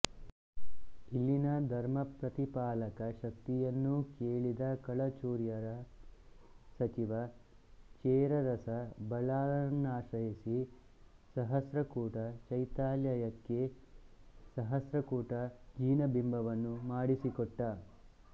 ಇಲ್ಲಿನ ಧರ್ಮಪ್ರತಿಪಾಲಕ ಶಕ್ತಿಯನ್ನು ಕೇಳಿದ ಕಳಚೂರ್ಯರ ಸಚಿವ ರೇಚರಸ ಬಲ್ಲಾಳನನ್ನಾಶ್ರಯಿಸಿ ಸಹಸ್ರಕೂಟ ಚೈತ್ಯಾಲಯಕ್ಕೆ ಸಹಸ್ರಕೂಟ ಜಿನಬಿಂಬವನ್ನು ಮಾಡಿಸಿಕೊಟ್ಟ